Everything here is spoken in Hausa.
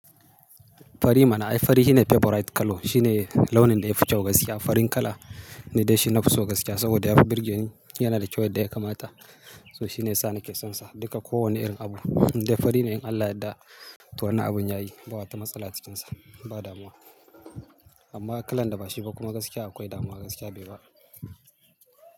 Fari mana. Ai fari shine favorite colour. Shine launin da ya fi cewa gaskiya, farin kala ne dai shi na fi so gaskiya. Saboda ya fi birge ni, yana da cewa da ya kamata. So shine sa ni ke son sa, duka ko wane irin abu. Indai fari ne in Allah Ya yadda to wannan abun ya yi, ba wata matsala ta cikinsa, ba damuwa. Amma kalan da ba shi ba kuma gaskiya akwai damuwa gaskiya bai ba.